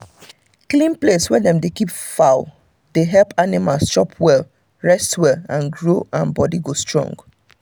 clean place wey dem dey keep fowl dey help animals chop well rest well and grow and body go strong